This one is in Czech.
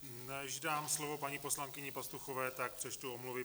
Než dám slovo paní poslankyni Pastuchové, tak přečtu omluvy.